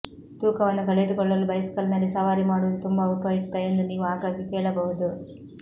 ತೂಕವನ್ನು ಕಳೆದುಕೊಳ್ಳಲು ಬೈಸಿಕಲ್ನಲ್ಲಿ ಸವಾರಿ ಮಾಡುವುದು ತುಂಬಾ ಉಪಯುಕ್ತ ಎಂದು ನೀವು ಆಗಾಗ್ಗೆ ಕೇಳಬಹುದು